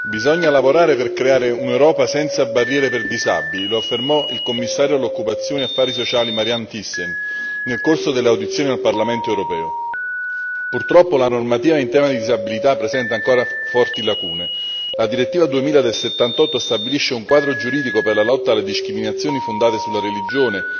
Signor Presidente, onorevoli colleghi, bisogna lavorare per creare un'Europa senza barriere per disabili. Lo affermò il Commissario all'occupazione e affari sociali, Marianne Thyssen nel corso dell'audizione al Parlamento europeo. Purtroppo la normativa in tema di disabilità presenta ancora forti lacune la direttiva 2000 del '78 stabilisce un quadro giuridico per la lotta alle discriminazioni fondate sulla religione,